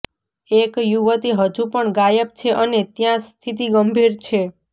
એક યુવતી હજુપણ ગાયબ છે અને ત્યાં સ્થિતિ ગંભીર છે